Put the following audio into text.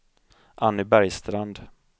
Anny Bergstrand